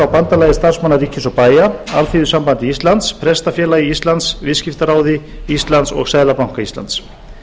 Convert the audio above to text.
bandalagi starfsmanna ríkis og bæja alþýðusambandi íslands prestafélagi íslands viðskiptaráði íslands og seðlabanka íslands